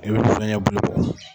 I bi zɔyɛn bulu bɔ.